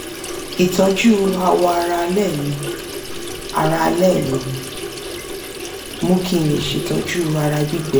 ìtọ́jú awọ ara alẹ́ mi ara alẹ́ mi mú kí n lè ṣètọ́jú ara gbígbẹ